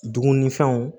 Dumunifɛnw